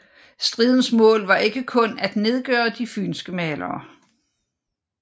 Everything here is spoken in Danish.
Stridens mål var ikke kun at nedgøre de fynske malere